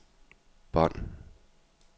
bånd